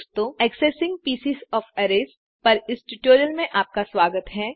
accessing pieces of arrays arrays के टुकड़ों को एक्सेस करने पर इस ट्यूटोरियल में आपका स्वागत है